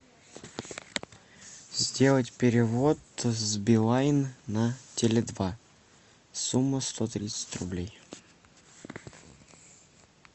сделать перевод с билайн на теле два сумма сто тридцать рублей